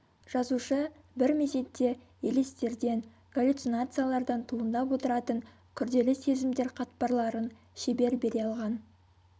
жазушы бір мезетте елестерден галюцинациялардан туындап отыратын күрделі сезімдер қатпарларын шебер бере алған